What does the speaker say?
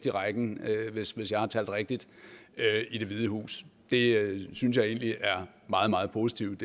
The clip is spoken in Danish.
i rækken hvis hvis jeg har talt rigtigt i det hvide hus det synes jeg egentlig er meget meget positivt